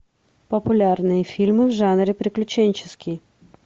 популярные фильмы в жанре приключенческий